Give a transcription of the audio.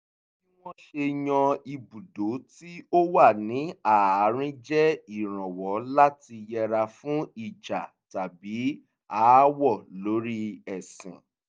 bí wọ́n ṣe yan ibùdó tí ó wà ní àárín jẹ́ ìrànwọ́ láti yẹra fún ìjà tàbí aáwọ̀ lórí ẹsìn